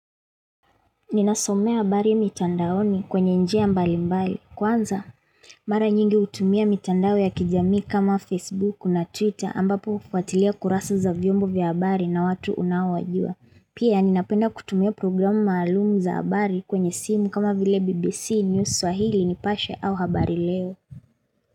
Ninasomea habari mitandaoni kwenye njia mbali mbali. Kwanza? Mara nyingi hutumia mitandao ya kijamii kama Facebook na Twitter ambapo ufuatilia kurasa za vyombo vya habari na watu unaowajua. Pia ninapenda kutumia programu maalumu za habari kwenye simu kama vile BBC News Swahili nipashe au habari leo.